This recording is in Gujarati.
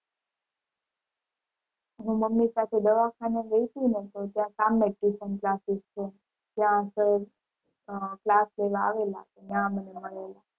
હું મમ્મી સાથે દવાખાને ગઈ તી ને તો ત્યાં સામે જ tuition classes છે ત્યાં sir અ class લેવા આવેલા ત્યાં મને મળેલા.